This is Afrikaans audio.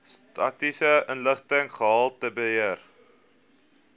statistiese inligting gehaltebeheer